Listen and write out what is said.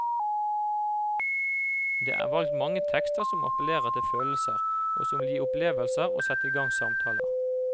Det er valgt mange tekster som appellerer til følelser, og som vil gi opplevelser og sette i gang samtaler.